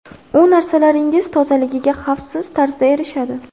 U narsalaringiz tozaligiga xavfsiz tarzda erishadi.